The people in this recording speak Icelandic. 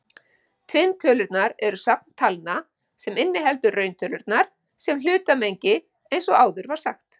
Tvinntölurnar eru safn talna sem inniheldur rauntölurnar sem hlutmengi eins og áður var sagt.